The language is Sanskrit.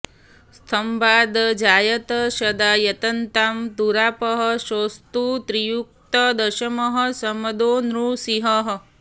स्तम्भादजायत सदा यततां दुरापः सोऽस्तु त्रियुक्तदशमः शमदो नृसिंहः